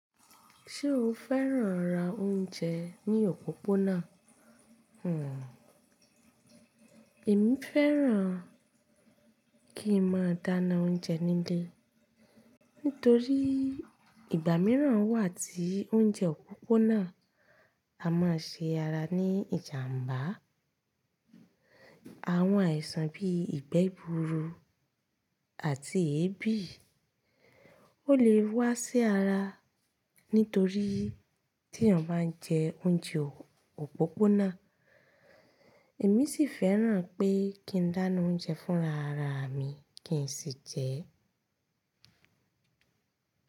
Ṣé o fẹ́ràn ra oúnjẹ ní òpópónà? Hmmm. Èmi fẹ́ràn kí n máa dáná oúnjẹ nílé. Nítorí ìgbà míràn wà tí oúnjẹ òpópónà a má ṣe ara ní ìjàmbá. Àwọn àìsàn bíi ìgbẹ́ gbuuru àti èébì ó lè wá sí ara nítorí tí èèyàn bá ń jẹ oúnjẹ òpópónà. Èmi sì fẹ́ràn pé kí n dáná oúnjẹ fúnra ra mi kí n sì jẹ ẹ́.